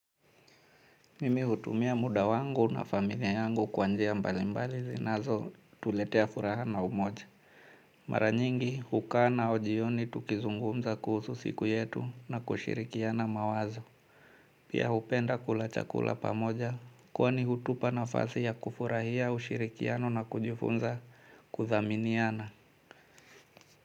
Mimi hutumia muda wangu na familia yangu kwa njia mbalimbali zinazotuletea furaha na umoja. Mara nyingi hukaa nao jioni tukizungumza kuhusu siku yetu na kushirikiana mawazo. Pia hupenda kula chakula pamoja kwani hutupa nafasi ya kufurahia ushirikiano na kujifunza kuthaminiana.